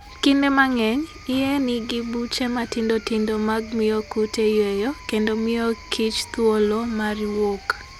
Kinde mang'eny, iye nigi buche matindo tindo mag miyo kute yueyo kendo miyo kichthuolo mar wuok.